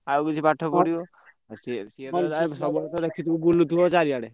ଆଉ କିଛି ପାଠପଢିବ ।